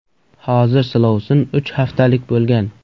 Hozir silovsin uch haftalik bo‘lgan.